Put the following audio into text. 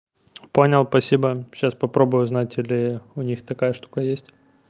понял спасибо сейчас попробую узнать или у них такая штука есть